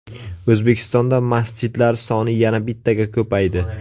O‘zbekistonda masjidlar soni yana bittaga ko‘paydi.